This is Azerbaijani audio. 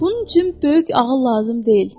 Bunun üçün böyük ağıl lazım deyil.